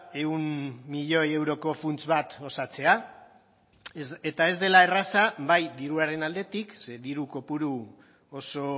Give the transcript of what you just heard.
ehun milioi euroko funts bat osatzea eta ez dela erraza bai diruaren aldetik ze diru kopuru oso